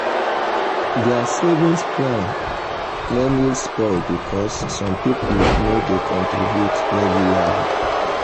their savings plan nearly spoil because some people no dey contribute regularly.